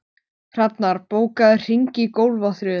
Hrafnar, bókaðu hring í golf á þriðjudaginn.